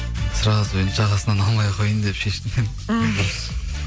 сразу енді жағасынан алмай ақ қояйын деп шештім мен мхм